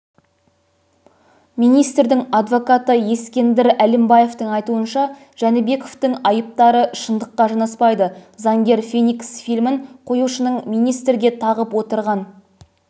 министрдің адвокаты ескендір әлімбаевтің айтуынша жәнібековтің айыптары шындыққа жанаспайды заңгер феникс фильмін қоюшының министрге тағып отырған